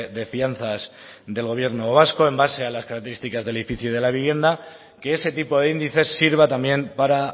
de fianzas del gobierno vasco en base a las características del edificio y de la vivienda que ese tipo de índices sirva también para